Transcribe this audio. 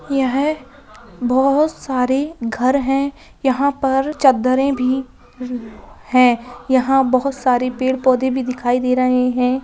यह बहुत सारी घर हैं। यहाँ पर चद्दरें भी हैं। यहाँ बहुत सारी पेड़-पौधे भी दिखाई दे रहें हैं।